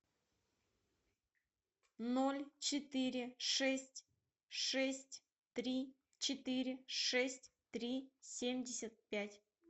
ноль четыре шесть шесть три четыре шесть три семьдесят пять